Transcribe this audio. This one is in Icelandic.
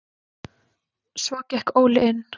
Svo gekk Óli inn.